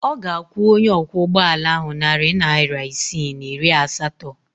Ọ ga-akwụ onye ọkwọụgbọala ahụ narị naịra isii na iri asatọ.